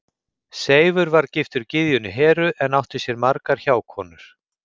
Seifur var giftur gyðjunni Heru en átti sér margar hjákonur.